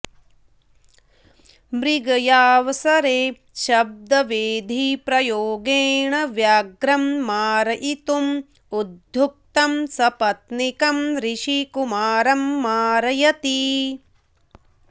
मृगयावसरे शब्दवेधीप्रयोगेण व्याघ्रं मारयितुम् उद्युक्तः सपत्नीकम् ऋषिकुमारं मारयति